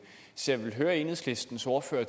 så jeg vil høre enhedslistens ordfører